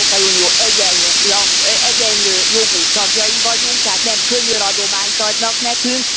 Az Európai Unió egyenlő jogú tagjai vagyunk, tehát nem könyöradományt adnak nekünk.